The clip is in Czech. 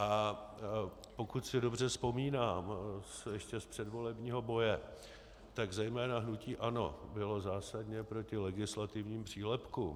A pokud si dobře vzpomínám ještě z předvolebního boje, tak zejména hnutí ANO bylo zásadně proti legislativním přílepkům.